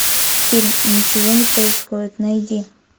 фильм ничего не происходит найди